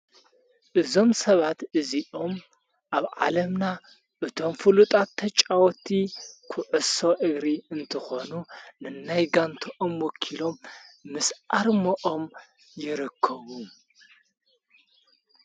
እዞም ሰባት እዙኦም ኣብ ዓለምና እቶም ፍሉጣት ተጫወቲ ኽዕሶ እግሪ እንትኾኑ ንናይጋንተኦም ወኪሎም ምስኣር መኦም የረከቡ::